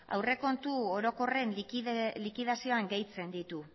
aurrekontu orokorren likidazioan gehitzen ditu